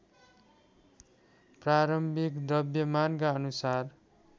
प्रारम्भिक द्रव्यमानका अनुसार